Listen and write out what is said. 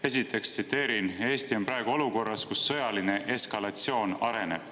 Esiteks: "Eesti on praegu olukorras, kus sõjaline eskalatsioon areneb.